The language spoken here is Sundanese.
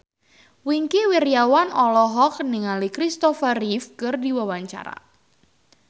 Wingky Wiryawan olohok ningali Christopher Reeve keur diwawancara